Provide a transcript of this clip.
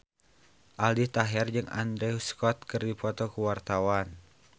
Aldi Taher jeung Andrew Scott keur dipoto ku wartawan